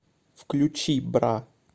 включи бра